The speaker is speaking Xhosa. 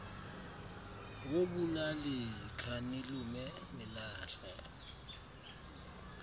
wobulali khanilume nilahla